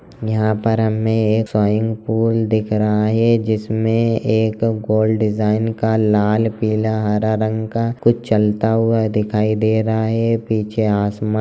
यहाँ पर हमे एक स्विंग पूल दिख रहा हैं जिसमे एक गोल डिजाइन का लाल पीला हरा रंग का कुछ चलता हुआ दिखाई दे रहा हैं पीछे आसमा--